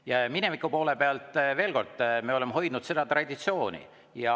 Ja mineviku poole pealt, veel kord, me oleme hoidnud traditsiooni.